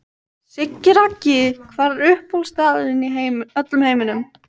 Siggi Raggi Hver er uppáhaldsstaðurinn þinn í öllum heiminum?